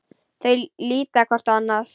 Þau líta hvort á annað.